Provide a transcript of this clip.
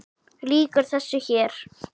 Lýkur þessu hér?